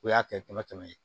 O y'a kɛ kɛmɛ kɛmɛ ye